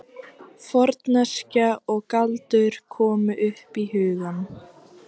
Forneskja og galdur komu upp í hugann.